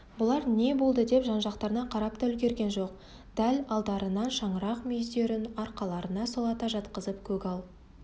бұлар не болдыдеп жан-жақтарына қарап та үлгерген жоқ дәл алдарынан шаңырақ мүйіздерін арқаларына сұлата жатқызып көгал